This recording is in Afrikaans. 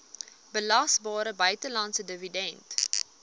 belasbare buitelandse dividend